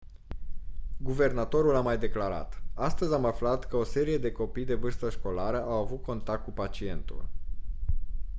guvernatorul a mai declarat: «astăzi am aflat că o serie de copii de vârstă școlară au avut contact cu pacientul».